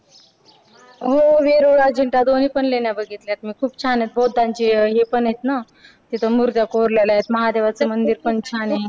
हो. वेरूळ अजिंठ्या दोन्हीपण लेण्या बघितल्यात मी खूप छान आहेत. बौद्धांची हे पण आहेत ना तिथं. मुर्त्या कोरलेल्या आहेत. महादेवाचं मंदिर पण छान आहे.